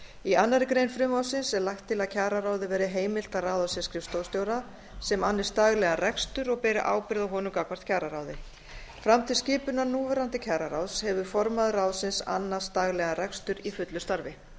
í annarri grein frumvarpsins er lagt til að kjararáði verði heimilt að ráða sér skrifstofustjóra sem annist daglegan rekstur og beri ábyrgð á honum gagnvart kjararáði fram til skipunar núverandi kjararáðs hefur formaður ráðsins annast daglegan rekstur í fullu starfi